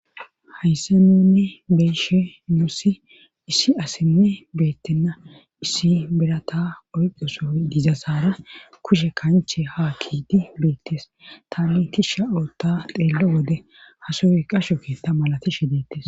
Hayssaninne beeshe noossi issi asenne beettenna issi berata oyqosoy dizasaara kushe kanche ha kiidi beettes tanitishsha otta xeello wode hasoy qasho keetta malatishe deettes